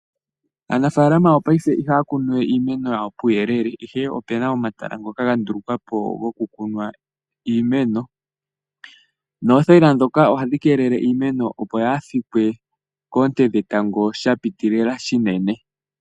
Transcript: Aanafaalama yongashingeyi ihaya kunuwe iimeno yawo puuyelele ihe opena omahala ngoka ga ndulukwapo gokukunwa iimeno. Noothayila ndhoka ohadhi keelele iimeno opo yaayi fikwe koonte dhetango shapitilila shinene